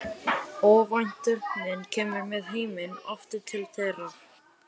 Óvænt þögnin kemur með heiminn aftur til þeirra.